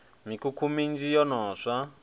mikhukhu minzhi yo no swa